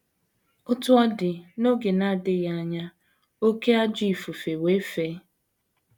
Otú ọ dị, n’oge na - adịghị anya, “ oké ajọ ifufe wee fee.